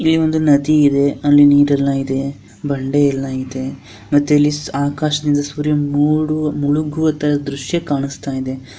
ಇಲ್ಲಿ ಒಂದು ನದಿ ಇದೆ ಅಲ್ಲಿ ನಿರ ಎಲ್ಲಾ ಇದೆ ಬಂಡೆ ಎಲ್ಲಾ ಇದೆ ಮತ್ತೆ ಇಲ್ಲಿ ಆಕಾಶದಿನ ಸೂರ್ಯ ಮೊಡು ಮುಳುಗುವ ದೃಶ್ಯ ಕಾಣಸ್ತಾಇದೆ .